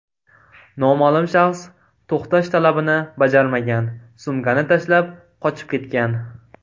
Noma’lum shaxs to‘xtash talabini bajarmagan, sumkani tashlab, qochib ketgan.